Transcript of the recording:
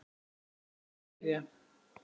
Er þetta að byrja?